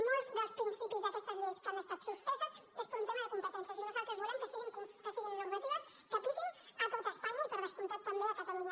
molts dels principis d’aquestes lleis que han estat suspeses és per un tema de competències i nosaltres volem que siguin normatives que apliquin a tot espanya i per descomptat també a catalunya